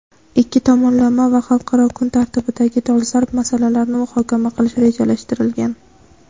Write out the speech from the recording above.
ikki tomonlama va xalqaro kun tartibidagi dolzarb masalalarni muhokama qilish rejalashtirilgan.